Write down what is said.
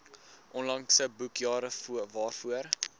onlangse boekjare waarvoor